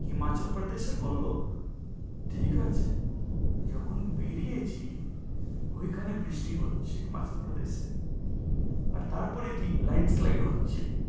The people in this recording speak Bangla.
হিমাচল প্রদেশের বলল ঠিক আছে। যখন বেরিয়েছি ওই খানে বৃষ্টি হচ্ছে, মাধ্য প্রদেশে। তার পরে কি landslide হচ্ছে